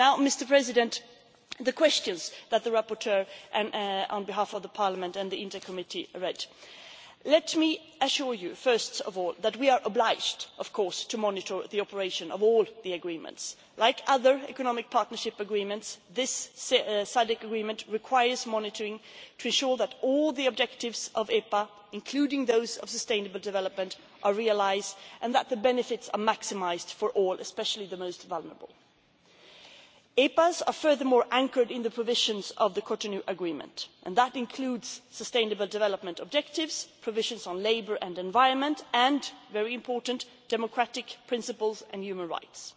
Turning now to the questions that the rapporteur raised on behalf of Parliament and the Committee on International Trade, let me assure you, first of all, that we are obliged to monitor the operation of all the agreements. Like other economic partnership agreements, this SADC agreement requires monitoring to assure that all the objectives of the EPA, including those of sustainable development, are realised, and that the benefits are maximised for all, especially the most vulnerable. EPAs are, furthermore, anchored in the provisions of the Cotonou Agreement and that includes sustainable development objectives, provisions on labour and environment and, very importantly, democratic principles and human rights.